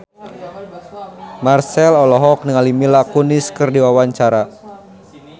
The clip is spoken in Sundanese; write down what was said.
Marchell olohok ningali Mila Kunis keur diwawancara